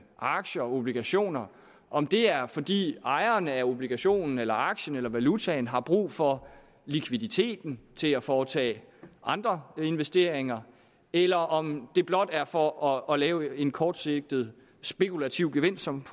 aktier og obligationer og om det er fordi ejerne af obligationen eller aktien eller valutaen har brug for likviditeten til at foretage andre investeringer eller om det blot er for at lave en kortsigtet spekulativ gevinst som